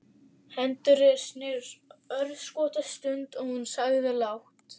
Hendur þeirra snertust örskotsstund og hún sagði lágt